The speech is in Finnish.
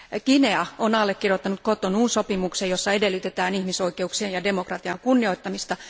Guinea on allekirjoittanut Cotonoun sopimuksen, jossa edellytetään ihmisoikeuksien ja demokratian kunnioittamista.